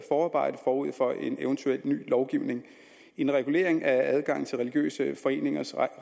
forarbejde forud for evt ny lovgivning en regulering af adgang til religiøse foreningers